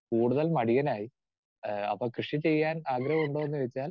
speaker 2 കൂടുതൽ മടിയനായി ആഹ് അപ്പോ കൃഷി ചെയ്യാൻ ആഗ്രഹമുണ്ടോന്ന് ചോദിച്ചാൽ